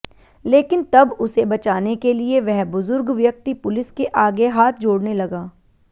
लेकिन तब उसे बचाने के लिए वह बुजुर्ग व्यक्ति पुलिस के आगे हाथ जोड़ने लगा